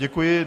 Děkuji.